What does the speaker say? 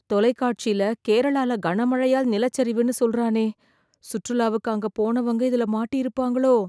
தொலைகாட்சில, கேரளால கனமழையால் நிலச்சரிவுன்னு சொல்றானே... சுற்றுலாவுக்கு அங்க போனவங்க, இதுல மாட்டியிருப்பாங்களோ..